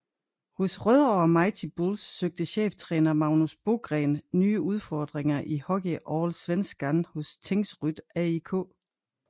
Hos Rødovre Mighty Bulls søgte cheftræner Magnus Bogren nye udfordringer i HockeyAllsvenskan hos Tingsryd AIK